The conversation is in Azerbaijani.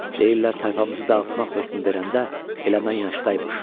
Deyirlər tayfamızı dağıtmaq hökmü verəndə elə mən yaşdaymış.